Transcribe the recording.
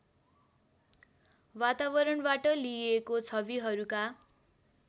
वातावरणबाट लिइएको छविहरूका